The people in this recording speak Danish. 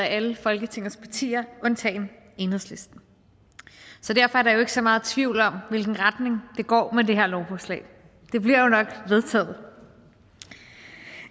af alle folketingets partier undtagen enhedslisten så derfor er der jo ikke så meget tvivl om hvilken retning det går med det her lovforslag det bliver jo nok vedtaget